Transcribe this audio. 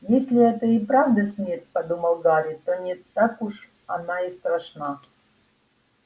если это и правда смерть подумал гарри то не так уж она и страшна